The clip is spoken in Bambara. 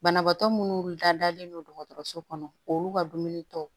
Banabaatɔ munnu dalen no dɔgɔtɔrɔso kɔnɔ olu ka dumuni tɔw